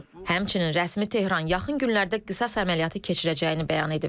Həmçinin rəsmi Tehran yaxın günlərdə qisas əməliyyatı keçirəcəyini bəyan edib.